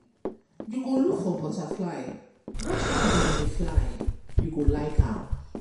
You go look for butterfly watch how dem dey fly, you go like am.